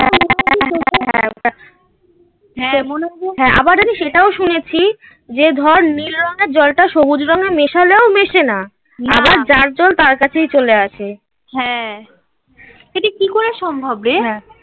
হ্যাঁ আবার আমি সেটাও শুনেছি. যে ধর নীল রঙের জলটা সবুজ রঙের মেশালেও মেশে না. আবার যার জল তার কাছেই চলে আসে. হ্যাঁ সেটি কি করে সম্ভব রে হ্যাঁ